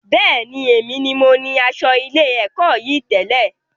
Bẹ́ẹ̀ni, èmi ní mo ní asọ ilé-èkó yìí tẹ̀lẹ́